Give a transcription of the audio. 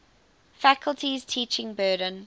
faculty's teaching burden